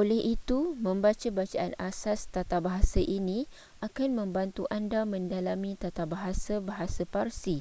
oleh itu membaca bacaan asas tatabahasa ini akan membantu anda mendalami tatabahasa bahasa parsi